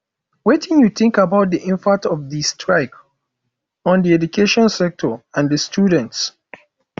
wetin you think about di impact of di strike on di education sector and di students